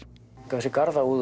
þessi